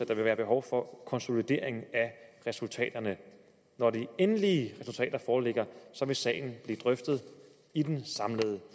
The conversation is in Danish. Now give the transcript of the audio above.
kan være behov for konsolidering af resultaterne når de endelige resultater foreligger vil sagen blive drøftet i den samlede